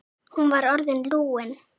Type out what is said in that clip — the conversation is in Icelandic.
Hún var orðin lúin.